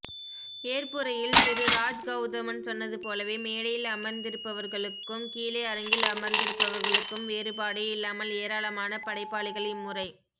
ஏற்புரையில் திரு ராஜ்கெளதமன் சொன்னதுபோலவே மேடையில் அமர்ந்திருப்பவர்களுக்கும் கீழே அரங்கில் அமர்ந்திருப்பவர்களுக்கும் வேறுபாடே இல்லாமல் ஏராளமான படைபாளிகள் இம்முறை